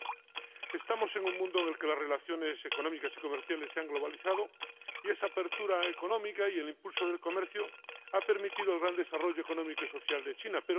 Pero, en fin, estamos en un mundo en el que las relaciones económicas y comerciales se han globalizado, y esa apertura económica y el impulso del comercio han permitido el gran desarrollo económico y social de China